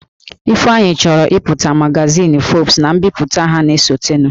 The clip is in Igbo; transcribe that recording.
Ifeanyi chọrọ ịpụta na magazin Forbes na mbipụta ha na-esotenụ